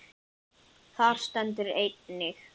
Þar stendur einnig